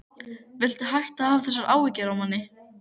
Viltu hætta að hafa þessar áhyggjur af manni!